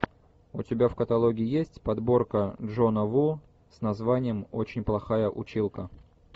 у тебя в каталоге есть подборка джона ву с названием очень плохая училка